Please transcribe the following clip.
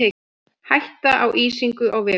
Hætta á ísingu á vegum